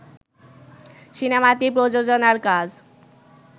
সিনেমাটি প্রযোজনার কাজ